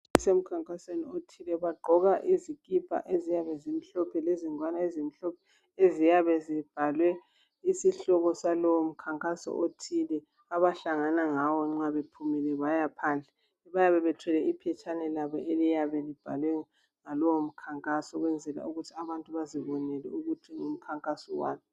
Kusemkhankasweni othile, bagqoka izikipa eziyabe zimhlophe lezingwane ezimhlophe eziyabe zibhalwe isihloko salowo mkhankaso othile abahlangana ngawo nxa bephumile baya phandle. Bayabe bethwele iphetshane labo eliyabe libhalwe ngalowo mkhankaso ukwenzela ukuthi abantu bazibonele ukuthi ngumkhankaso wani.